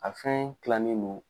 A fɛn kilannen no